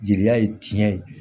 Jeliya ye tiɲɛ ye